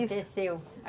teceu.